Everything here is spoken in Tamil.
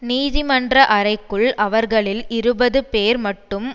நீதிமன்ற அறைக்குள் அவர்களில் இருபதுபேர் மட்டும்